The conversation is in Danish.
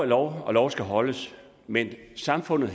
lov og lov skal holdes men samfundet